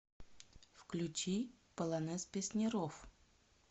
включи полонез песняров